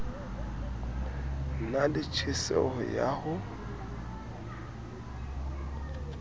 na le tjheseho ya ho